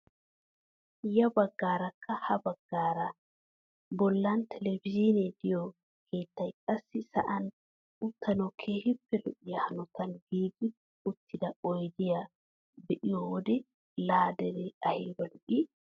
Ya baggaarakka ha baggaara bollan telebizhiinee de'iyoo keettay qassi sa'an uttanawu keehippe lo"iyaa hanotan giigi uttida oydeta be'iyoo wode la deree ayba lo"ii!